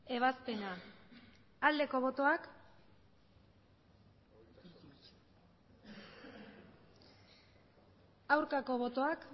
ebazpena aldeko botoak aurkako botoak